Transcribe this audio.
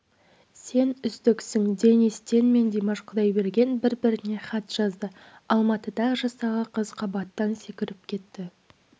сен үздіксің денис тен мен димаш құдайберген бір-біріне хат жазды алматыда жастағы қыз қабаттан секіріп кетті